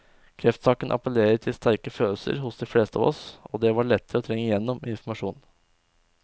Kreftsaken appellerer til sterke følelser hos de fleste av oss, og det var lettere å trenge igjennom med informasjon.